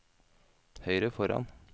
høyre foran